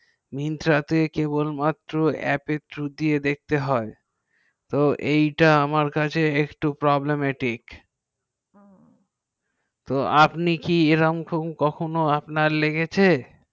myntra তে app through দিয়ে দেখতে হয় তো আমার কাছে এক টু প্রব্লেম এটিকে হু তো আপনি কি এরকম কখন লেগেছে